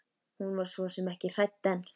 Hún var svo sem ekki hrædd en.